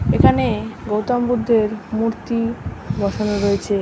এখানে গৌতমবুদ্ধের মূর্তি বসানো রয়েছে।